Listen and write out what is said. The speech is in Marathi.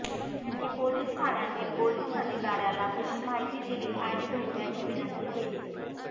त्यांनी पोलीस ठाण्यातील पोलीस अधिकाऱ्याला तशी माहिती दिली आणि भेटण्याची विनंती केली